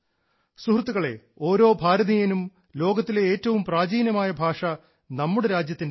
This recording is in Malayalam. സുഹൃത്തുക്കളേ ലോകത്തിലെ ഏറ്റവും പ്രാചീനമായ ഭാഷ നമ്മുടെ രാജ്യത്തിൻറേതാണ്